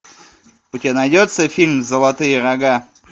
у тебя найдется фильм золотые рога